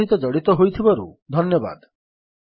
ଆମ ସହିତ ଜଡ଼ିତ ହୋଇଥିବାରୁ ଧନ୍ୟବାଦ